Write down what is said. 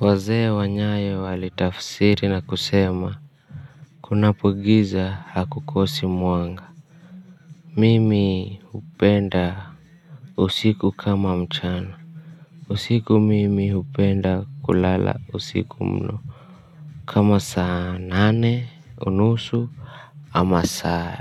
Wazee wa nyayo walitafsiri na kusema kunapo giza hakukosi mwanga. Mimi hupenda usiku kama mchana. Usiku mimi upenda kulala usiku mno. Kama saa nane unusu ama saa